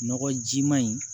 Nɔgɔjima in